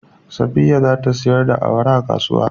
Safiya za ta sayar da awara a kasuwa.